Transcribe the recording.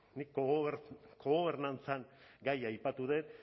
nik kogobernantzaren gaia aipatu dut